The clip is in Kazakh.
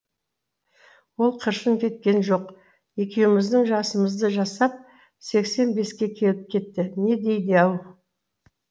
ол қыршын кеткен жоқ екеуміздің жасымызды жасап сексен беске келіп кетті не дейді ау